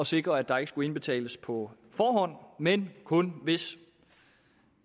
sikre at der ikke skulle indbetales på forhånd men kun hvis